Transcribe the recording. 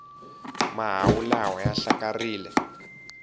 mahawu lawa ya hlakarile